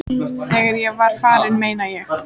Þegar ég var farinn, meina ég.